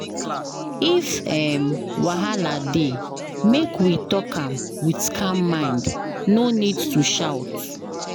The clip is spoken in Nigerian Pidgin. If um wahala dey, make we talk am with calm mind, no need to shout.